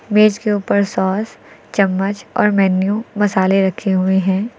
मेज़ के ऊपर सॉस चम्मच और मेनू मसाले रखे हुए हैं।